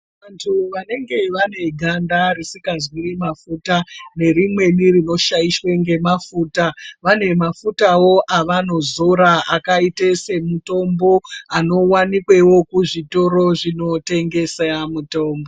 Vantu vanenge vane ganda risingazwi mafuta, nerimweni rinoshayishwa ngemafuta, vane mafutawo avanozora akayite semutombo, anowanikwewo kuzvitoro zvinotengesa mutombo.